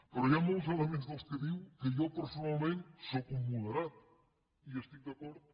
però hi ha molts elements dels que diu que jo personalment sóc un moderat i hi estic d’acord